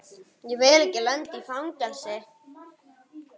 Ég vil ekki lenda í fangelsi.